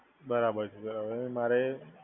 બરાબર છે હવે મારે,